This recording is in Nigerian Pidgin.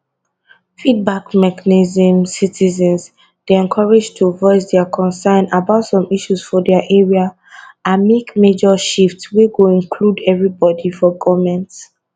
feedback mechanismcitizens dey encourage to voice dia concern about some issues for dia area and make major shift wey go include everibodi for goment